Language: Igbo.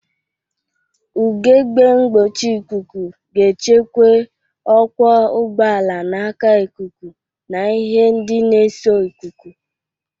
Ugegbe mgbochi ikuku ga-echekwe ọkwọ ụgbọala n'aka ikuku na ihe ndị na-eso ikuku.